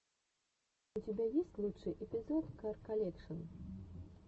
у тебя есть лучший эпизод кар колекшн